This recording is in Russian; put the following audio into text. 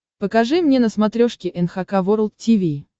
покажи мне на смотрешке эн эйч кей волд ти ви